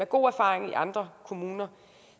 god erfaring i andre kommuner